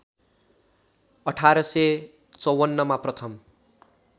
१८५४ मा प्रथम